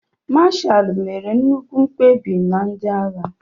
Mashalu mere nnukwu mkpebi na ndị agha.